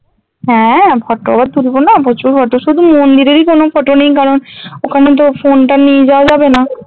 হ্যাঁ photo আবার তুলবোনা প্রচুর photo শুধু মন্দিরেরই কোনো photo নেই কারণ ওখানে তো phone টা নিয়ে যাওয়া যাবে না